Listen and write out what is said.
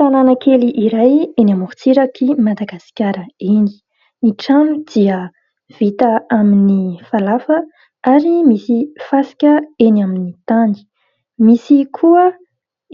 Tanàna kely iray eny amorontsirak'i Madagasikara eny, ny trano dia vita amin'ny falafa ary misy fasika eny amin'ny tany. Misy koa